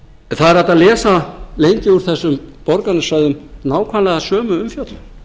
það er hægt að lesa lengi úr þessum borgarnesræðum nákvæmlega sömu umfjöllun